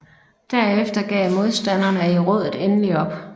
Derefter gav modstanderne i rådet endelig op